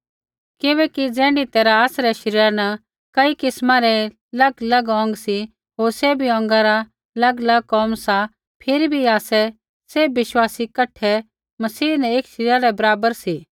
किबैकि ज़ैण्ढी तैरहा आसरै शरीरा न कई किस्मा रै अलगअलग अौंग सी होर सैभी अौंगा रा अलगअलग कोम सा फिरी भी आसै सैभ विश्वासी कठै मसीह न एक शरीरा रै बराबर सी